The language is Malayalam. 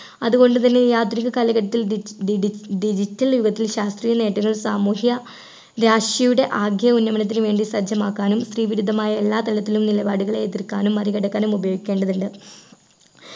അതുകൊണ്ടുതന്നെ ഈ ആധുനിക കാലഘട്ടത്തിൽ D D D D digital യുഗത്തിൽ ശാസ്ത്രീയ നേട്ടങ്ങൾ സാമൂഹ്യ രാശിയുടെ ആകെ ഉന്നമനത്തിന് വേണ്ടി സജ്ജമാക്കാനും സ്ത്രീ വിരുദ്ധമായ എല്ലാ തലത്തിലും നിലപാടുകൾ എതിർക്കാനും മറികടക്കാനും ഉപയോഗിക്കേണ്ടതുണ്ട്